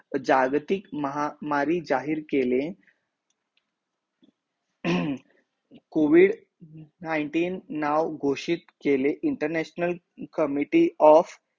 जागतिक महामारी जाहीर केले हम्म covid nineteen नाव घोषित केले international committee of